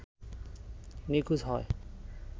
নিখোঁজ হয়